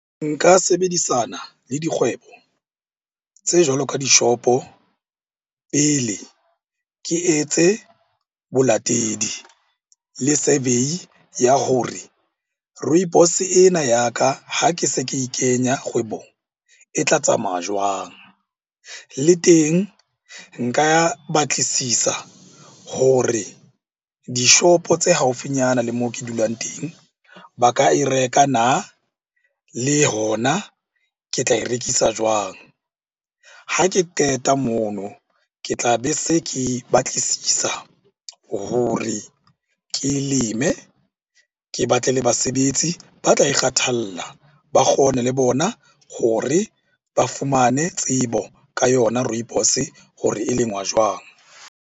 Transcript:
Nka sebedisana le dikgwebo tse jwalo ka dishopo. Pele ke etse bolatedi le survey ya hore rooibos-e ena ya ka ha ke se ke e kenya kgwebong, e tla tsamaya jwang? Le teng nka batlisisa hore dishopo tse haufinyana le moo ke dulang teng ba ka e reka na? Le hona ke tla e rekisa jwang? Ha ke qeta mono, ke tlabe se ke batlisisa hore ke e leme. Ke batle le basebetsi ba tla e kgathalla ba kgone le bona hore ba fumane tsebo ka yona rooibos-e hore e lengwa jwang?